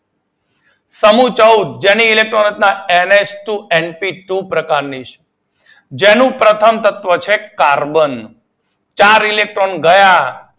સમૂહ ચૌદ જેની ઇલેક્ટ્રોન રચના N H two N P two પ્રકાર ની છે. જેનું પ્રથમ તત્વ છે કાર્બન ચાર ઇલેક્ટ્રોન ગયા ગયા